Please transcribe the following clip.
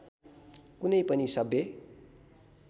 कुनै पनि सभ्य